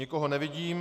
Nikoho nevidím.